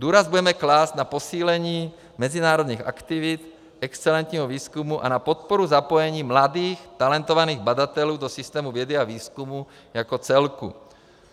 Důraz budeme klást na posílení mezinárodních aktivit, excelentního výzkumu a na podporu zapojení mladých talentovaných badatelů do systému vědy a výzkumu jako celku.